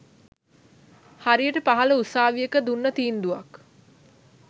හරියට පහල උසාවියක දුන්න තීන්දුවක්